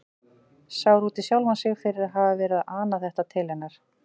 Sár út í sjálfan sig fyrir að hafa verið að ana þetta til hennar.